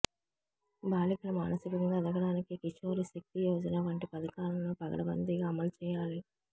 బాలికలు మానసికంగా ఎదగడానికి కిశోరి శక్తి యోజన వంటి పథకాలను పకడ్బందీగా అమలు చేయాలి